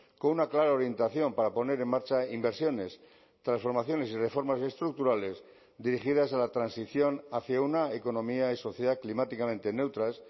con una clara orientación para poner en marcha inversiones transformaciones y reformas estructurales dirigidas a la transición hacia una economía y sociedad climáticamente neutras